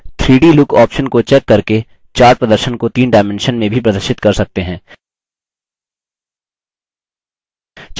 3d look option को check करके chart प्रदर्शन को तीन डायमेंशन में भी प्रदर्शित कर सकते हैं